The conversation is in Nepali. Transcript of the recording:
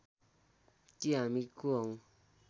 कि हामी को हौं